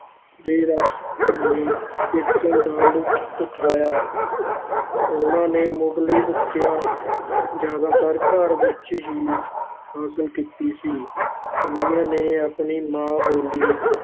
ਤੇ ਰਸ ਭਿੰਨੇ ਕੀਰਤਨ ਦਾ ਲੁਤਫ ਉਠਾਇਆ ਉਹਨਾਂ ਨੇ ਮੁੱਢਲੀ ਵਿਦਿਆ ਜ਼ਿਆਦਾਤਰ ਘਰ ਵਿਚ ਹੀ ਹਾਸਲ ਕੀਤੀ ਸੀ, ਉਹਨਾਂ ਨੇ ਆਪਣੀ ਮਾਂ ਬੋਲੀ